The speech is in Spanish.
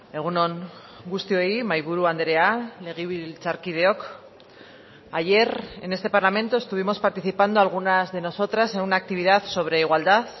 egun on guztioi mahaiburu andrea legebiltzarkideok ayer en este parlamento estuvimos participando algunas de nosotras en una actividad sobre igualdad